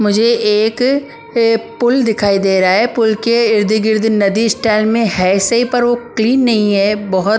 मुझे एक पुल दिखाई दे रहा है पुल के इर्द-गिर्द नदी स्टाइल में है सही पर वो क्लीन नहीं है बहुत --